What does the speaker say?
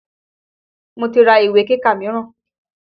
Mo ti ra ìwé kíkà míràn.